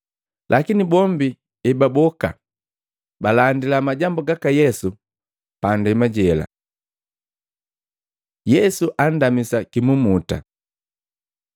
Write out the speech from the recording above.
Lakini bombi ebaboka, balandila majambu gaka Yesu pa ndema jela. Yesu andamisa kimumuta